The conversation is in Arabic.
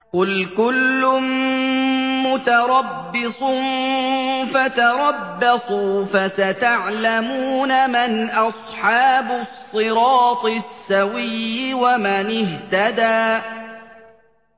قُلْ كُلٌّ مُّتَرَبِّصٌ فَتَرَبَّصُوا ۖ فَسَتَعْلَمُونَ مَنْ أَصْحَابُ الصِّرَاطِ السَّوِيِّ وَمَنِ اهْتَدَىٰ